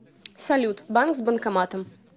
салют банк с банкоматом